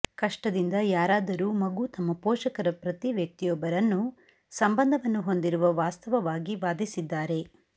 ಕಷ್ಟದಿಂದ ಯಾರಾದರೂ ಮಗು ತಮ್ಮ ಪೋಷಕರ ಪ್ರತಿ ವ್ಯಕ್ತಿಯೊಬ್ಬರನ್ನು ಸಂಬಂಧವನ್ನು ಹೊಂದಿರುವ ವಾಸ್ತವವಾಗಿ ವಾದಿಸಿದ್ದಾರೆ